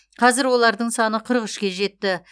қазір олардың саны қырық үшке жетті